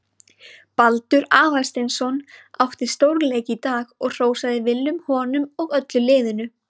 Baldur Aðalsteinsson átti stórleik í dag og hrósaði Willum honum og öllu liðinu.